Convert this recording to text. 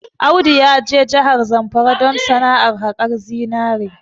Audu ya je jahar Zamfara don sana'ar haƙar zinari